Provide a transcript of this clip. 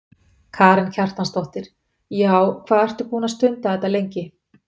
Karen Kjartansdóttir: Já, hvað ertu þá búin að stunda þetta lengi?